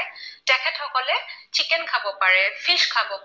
Fish খাব পাৰে।